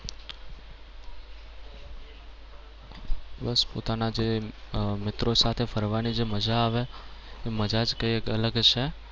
બસ પોતાના જે મિત્રો સાથે ફરવાની જે મજા આવે એ મજા જ કઈક અલગ છે.